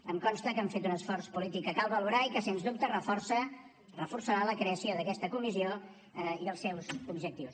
em consta que han fet un esforç polític que cal valorar i que sense dubte reforçarà la creació d’aquesta comissió i els seus objectius